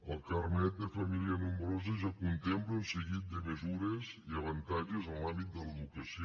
el carnet de família nombrosa ja contempla un seguit de mesures i avantatges en l’àmbit de l’educació